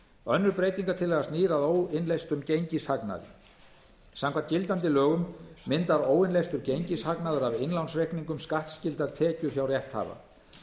önnur breytingartillaga snýr að óinnleystum gengishagnaði samkvæmt gildandi lögum myndar óinnleystur gengishagnaður af innlánsreikningum skattskyldar tekjur hjá rétthafa